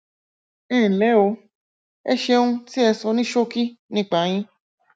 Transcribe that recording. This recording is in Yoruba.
ẹnlẹ o ẹ ṣeun tí ẹ sọ ní ṣókí nípa yín